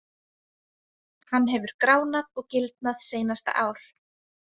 Hann hefur gránað og gildnað seinasta ár.